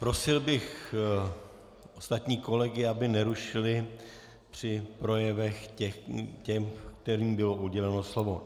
Prosil bych ostatní kolegy, aby nerušili při projevech ty, kterým bylo uděleno slovo.